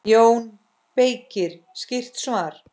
JÓN BEYKIR: Skýrt svar!